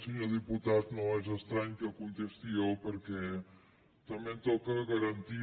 senyor diputat no és estrany que contesti jo perquè també em toca garantir